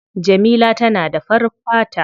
Jamila tana da farin fata.